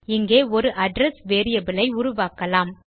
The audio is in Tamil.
இங்கே ஒரு அட்ரெஸ் வேரியபிள் ஐ உருவாக்கலாம்